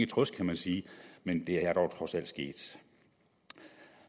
trøst kan man sige men det er dog trods alt sket